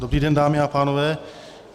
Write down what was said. Dobrý den, dámy a pánové.